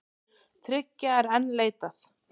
Þriggja er enn leitað.